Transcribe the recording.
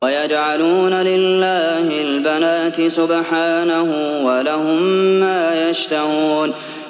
وَيَجْعَلُونَ لِلَّهِ الْبَنَاتِ سُبْحَانَهُ ۙ وَلَهُم مَّا يَشْتَهُونَ